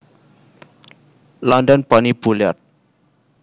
London Bonnie Bullard